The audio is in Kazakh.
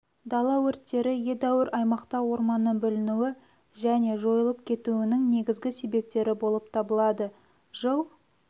дала өрттері едәуір аймақта орманның бүлінуі және жойылып кетуінің негізгі себептері болып табылады жыл